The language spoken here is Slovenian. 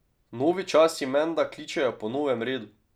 Novi časi menda kličejo po novem redu ...